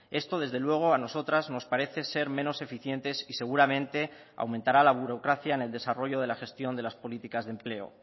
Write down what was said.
esto desde luego a nosotras nos parece ser menos eficientes y seguramente aumentará la burocracia en el desarrollo de la gestión de las políticas de empleo